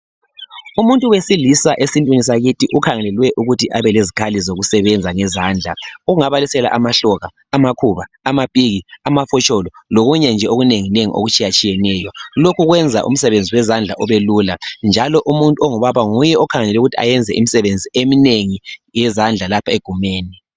Umuntu wesilisa esintwini sakithi ukhangelelwe ukuthi abelezikhali zokusebenza ngezandla ongabaliseka amahloka, amakhuba, amapiki amafotsholo lokunye nje okunenginengi okutshiyatshiyeneyo lokhu kwenza umsebenzi wenzandla ubelula njalo umuntu ongubaba nguye okhangelelwe ukuthi ayenze imisebenzi eminengi yezandla lapha egumeni.